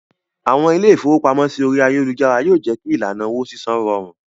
Àwọn ilé-ìfowópamọ́sí orí ayélujára yó jé kí ìlànà owó sísan rọrùn.